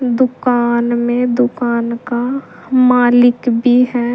दुकान में दुकान का मालिक भी है।